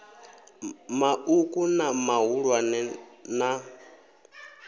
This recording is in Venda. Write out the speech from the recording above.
ma uku na mahulwane na